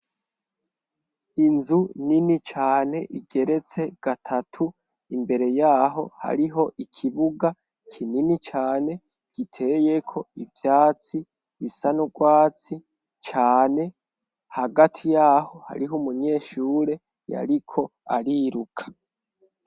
inzu nini cane igeretse gatatu imbere yaho hariho ikibuga kinini cane giteyeko ivyatsi bisa n'urwatsi cane hagati yaho hariho umunyeshure yariko ariruka